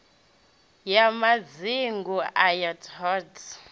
ya madzingu ayo t hod